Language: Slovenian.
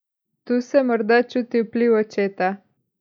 Tu se morda čuti vpliv očeta.